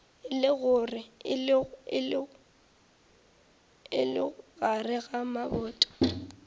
e lego gare ga maboto